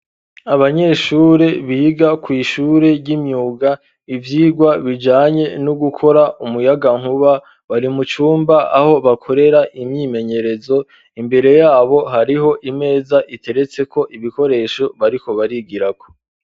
Abanyeshure biga ku ishure y'imyuga ibyigwa bijanye no gukora umuyaga nkuba barimucumba aho bakorera imyimenyerezo imbere yabo hariho imeza iteretse ko ibikoresho bariko barigira ko.